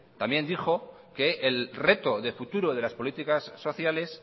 también dijo que el reto de futuro de las políticas sociales